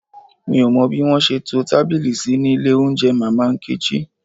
Mi ò mọ bí wọ́n ṣe to tábìlì sí ní ilé oúnjẹ Mama Nkechi